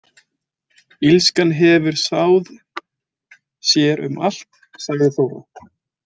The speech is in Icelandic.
Illskan hefur sáð sér um allt, sagði Þóra.